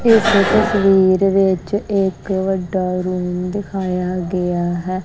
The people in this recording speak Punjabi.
ਇਸ ਤਸਵੀਰ ਵਿੱਚ ਇੱਕ ਵੱਡਾ ਰੂਮ ਦਿਖਾਇਆ ਗਿਆ ਹੈ।